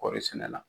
Kɔɔri sɛnɛ la